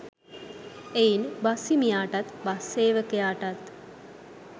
එයින් බස් හිමියාටත් බස් සේවකයාටත්